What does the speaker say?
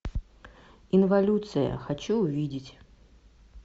инволюция хочу увидеть